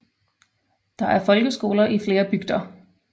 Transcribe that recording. Der er folkeskoler i flere bygder